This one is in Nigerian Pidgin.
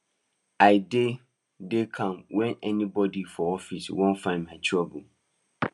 i dey dey calm when anybody for office won find my trouble